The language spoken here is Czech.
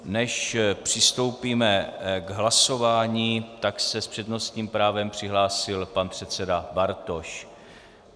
Než přistoupíme k hlasování, tak se s přednostním právem přihlásil pan předseda Bartoš.